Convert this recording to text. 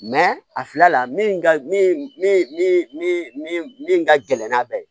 a fila la min ka min min min min min ka gɛlɛn n'a bɛɛ ye